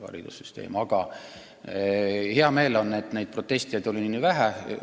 Aga mul on hea meel, et neid protestijaid oli nii vähe.